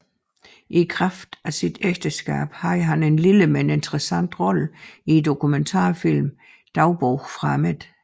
I kraft af sit ægteskab havde han en lille men interessant rolle i dokumentarfilmen Dagbog fra midten